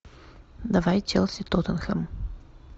давай челси тоттенхэм